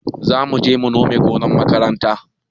Zamuje mu nome gonar makaranta